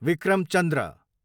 Vikram Chandra